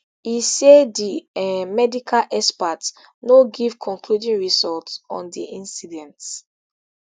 e say di um medical experts no give concluding result on di incident